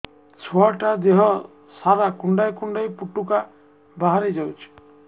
ଛୁଆ ଟା ଦେହ ସାରା କୁଣ୍ଡାଇ କୁଣ୍ଡାଇ ପୁଟୁକା ବାହାରି ଯାଉଛି